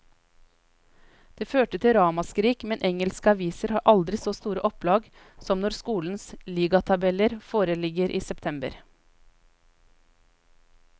Det førte til ramaskrik, men engelske aviser har aldri så store opplag som når skolenes ligatabeller foreligger i september.